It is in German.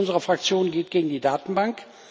Das erste unserer Fraktion geht gegen die Datenbank.